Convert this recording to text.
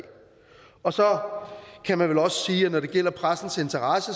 og så kan man vel også sige at når det gælder pressens interesse